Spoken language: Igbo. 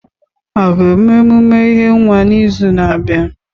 A ga eme emume ihe nwa n'izu na-abịa?